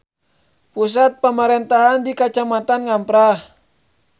Pusat pamarentahan di Kacamatan Ngamprah.